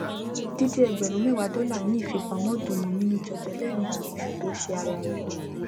dídé ẹgbẹrún méwàá dollar ní ìfipamọ dùn mọ nínú jọjọ lẹyìn àwọn oṣù to ṣé ara rẹ